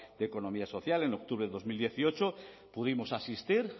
de economía social en octubre de dos mil dieciocho pudimos asistir